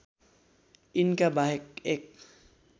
यिनका बाहेक एक